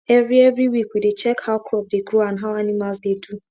every every week we dey check how crop dey grow and how animals dey do